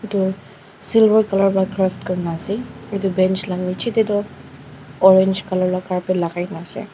tu silver colour pa curve kuri ne ase etu bench la niche te toh orange colour la carpet lagai ne ase.